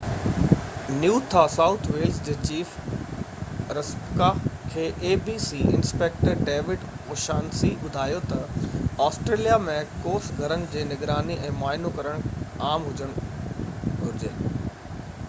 rspca New South Wales جي chief inspector David O'Shaughnessy abc کي ٻڌايو تہ آسٽريليا ۾ ڪوس گهرن جي نگراني ۽ معائنو ڪرڻ عام هجڻ گهرجي